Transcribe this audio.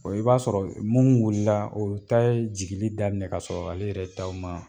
i b'a sɔrɔ mun wulila o ta ye jigili daminɛ kasɔrɔ ale yɛrɛ taw ma